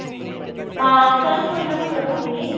ਹਾਂ ਚਲ ਕੁਝ ਨਾ ਕੁਝ ਕਰੂਗੀ।